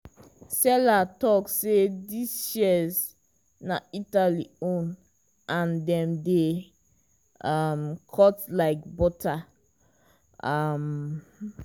seller talk say these shears na italy own and dem dey um cut like butter. um